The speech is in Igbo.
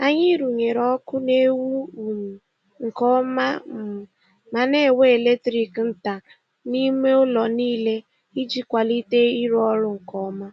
Anyị rụnyere ọkụ na-enwu um nke ọma um ma na-ewe eletrik nta n'ime ụlọ niile iji kwalite ịrụ ọrụ nke ọma.